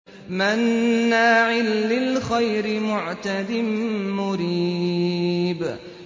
مَّنَّاعٍ لِّلْخَيْرِ مُعْتَدٍ مُّرِيبٍ